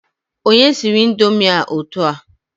Onye siri indomi a otua